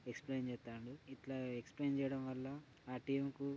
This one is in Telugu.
ఎక్స్ప్లెయిన్ చేస్తాడు ఇట్లా ఎక్స్ప్లెయిన్ చేయడం వల్ల ఆ టీంకు --